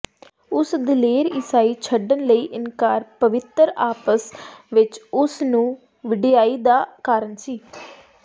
ਉਸ ਦਲੇਰ ਈਸਾਈ ਛੱਡਣ ਲਈ ਇਨਕਾਰ ਪਵਿੱਤਰ ਆਪਸ ਵਿੱਚ ਉਸ ਨੂੰ ਵਡਿਆਈ ਦਾ ਕਾਰਨ ਸੀ